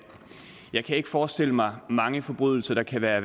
jeg kan ikke forestille mig mange forbrydelser der kan være